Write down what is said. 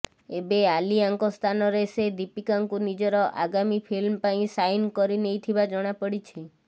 ଏବେ ଆଲିଆଙ୍କ ସ୍ଥାନରେ ସେ ଦୀପିକାଙ୍କୁ ନିଜର ଆଗାମୀ ଫିଲ୍ମ ପାଇଁ ସାଇନ୍ କରିନେଇଥିବା ଜଣା ପଡ଼ିଛି